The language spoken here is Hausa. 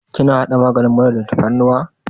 Kina haɗa maganin mura da tafarnuwa?